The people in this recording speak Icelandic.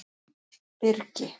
Birgi